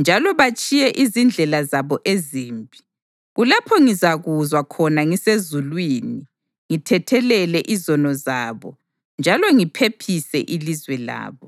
njalo batshiye izindlela zabo ezimbi, kulapho ngizakuzwa khona ngisezulwini ngithethelele izono zabo njalo ngiphephise ilizwe labo.